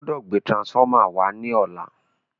o gbódò gbé transformer wá ní ọlá!